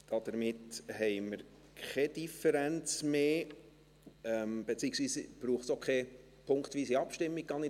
Damit haben wir keine Differenz mehr, beziehungsweise gehe ich davon aus, dass es auch keine punktweise Abstimmung braucht.